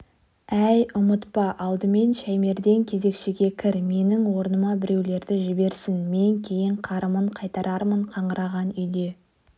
әй ұмытпа алдымен шаймерден кезекшіге кір менің орныма біреулерді жіберсін мен кейін қарымын қайтарармын қаңыраған үйде